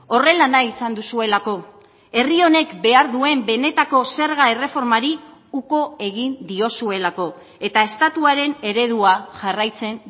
horrela nahi izan duzuelako herri honek behar duen benetako zerga erreformari uko egin diozuelako eta estatuaren eredua jarraitzen